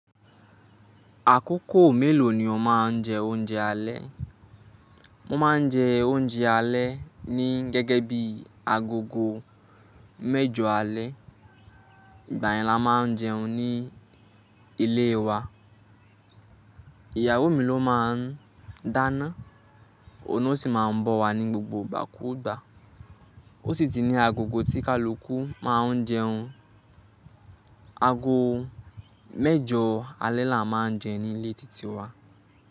Àkókò mélòó ni o máa ń jẹ oúnjẹ alẹ́? Mo máa ń jẹ oúnjẹ alẹ́ ní gẹ́gẹ́ bí agogo mẹ́jọ alẹ́. Ìgbà yẹn ni a máa ń jẹun ní ilé wa. Ìyàwó mi ló máa ń dáná, òun ni ó sì máa ń bọ́ wa ni gbogbo gbà kúgbà o sì tì ni àgògò tí kálukù máa ń jẹun. Ago mẹ́jọ alẹ́ la máa ń jẹun ní ilé títí wa.